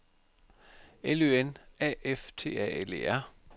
L Ø N A F T A L E R